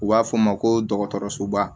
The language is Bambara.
U b'a f'o ma ko dɔgɔtɔrɔsoba